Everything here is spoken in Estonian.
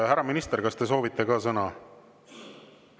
Härra minister, kas te soovite ka sõna?